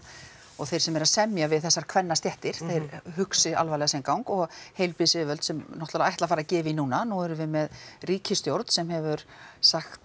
og þeir sem eru að semja við þessar kvennastéttir þeir hugsi alvarlega sinn gang og heilbrigðisyfirvöld sem náttúrulega ætla að fara að gefa í núna nú erum við með ríkisstjórn sem hefur sagt